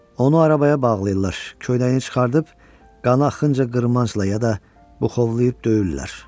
Onu arabaya bağlayırlar, köynəyini çıxarıb qana xınca qırmancla ya da buxovlayıb döyürlər.